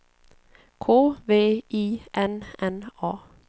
K V I N N A